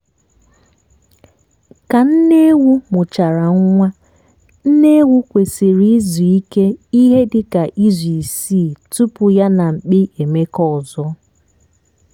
ka nne ewu mụchara nwa nne ewu kwesiri izu ike ihe dịka izu isii tupu yá nà mkpi emekọ ọzọ